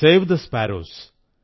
save the sparrows